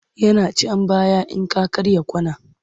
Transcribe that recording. Yana can baya in ka karya kwana.